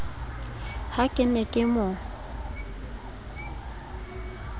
ha ke ne ke mo